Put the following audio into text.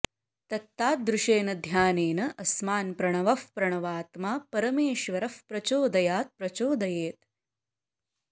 तत्तादृशेन ध्यानेन अस्मान् प्रणवः प्रणवात्मा परमेश्वरः प्रचोदयात् प्रचोदयेत्